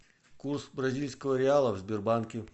курс бразильского реала в сбербанке